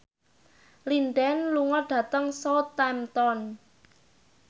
Lin Dan lunga dhateng Southampton